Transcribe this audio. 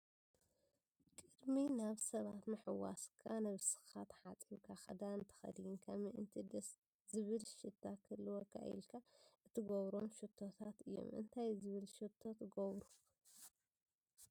ቅድሚ ናይ ሰባት ምሕዋስካ ነብስካ ተሓፂብካ ክዳን ተከዲንካ ምእንቲ ደስ ዝብል ሽታ ክህልዎካ ኢልካ ትገብሮም ሽቶታት እዮም። እንታይ ዝብል ሽቶ ትገብሩ?